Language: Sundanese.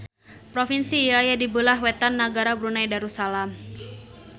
Propinsi ieu aya di beulah wetan nagara Brunei Darussalam